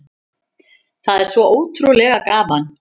Það er svo ótrúlega gaman